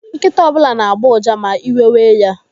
Nkịta ọbụla na-agbọ uja ma iwe wee ya.